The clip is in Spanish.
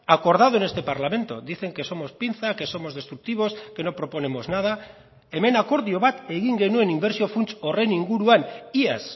acordado en este parlamento dicen que somos pinza que somos destructivos que no proponemos nada hemen akordio bat egin genuen inbertsio funts horren inguruan iaz